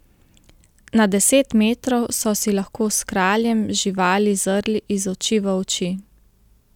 Na deset metrov so si lahko s kraljem živali zrli iz oči v oči.